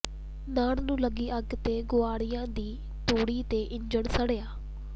ਨਾੜ ਨੂੰ ਲਾਈ ਅੱਗ ਨੇ ਗੁਆਂਢੀਆਂ ਦੀ ਤੂੜੀ ਤੇ ਇੰਜਣ ਸਾੜਿਆ